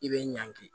I bɛ ɲangi